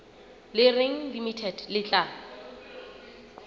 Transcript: le reng limited le tla